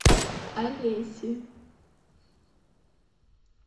алеси